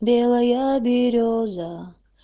белая берёза